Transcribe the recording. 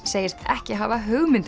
segist ekki hafa hugmynd